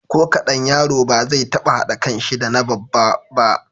Ko kaɗan, yaro ba zai taɓa haɗa kanshi da na babba ba.